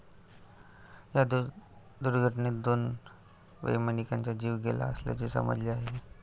या दुर्घटनेत दोन वैमानिकांचा जीव गेला असल्याचे समजते आहे.